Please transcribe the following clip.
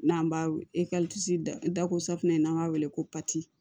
N'an b'a da ko safinɛ ye n'an b'a wele ko